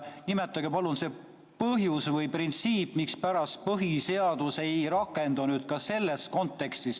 Nimetage palun see põhjus või printsiip, mispärast põhiseadus ei rakendu selles kontekstis!